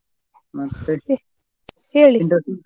ಮತ್ತೇ?